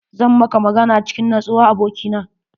Zan maka magana cikin nutsuwa abokina.